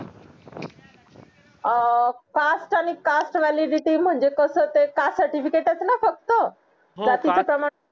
अं caste आणि caste valiidity म्हणजे कसं ते caste certificate च ना फक्त जातीचे प्रमाण